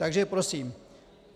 Takže prosím: